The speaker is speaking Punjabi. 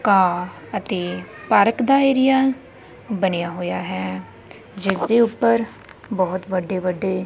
ਘਾਹ ਅਤੇ ਪਾਰਕ ਦਾ ਏਰੀਆ ਬਣਿਆ ਹੋਇਆ ਹੈ ਜਿਸਦੇ ਉੱਪਰ ਬਹੁਤ ਵੱਡੇ ਵੱਡੇ --